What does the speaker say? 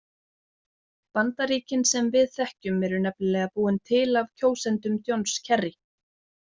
Bandaríkin sem við þekkjum eru nefnilega búin til af kjósendum Johns Kerry.